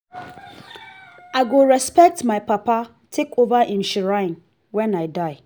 i go respect my papa take over im shrine wen i die